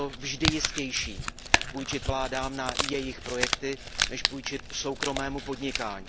Bylo to vždy jistější půjčit vládám na jejich projekty než půjčit soukromému podnikání.